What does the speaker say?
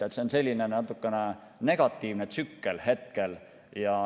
See on selline natukene negatiivne tsükkel hetkel.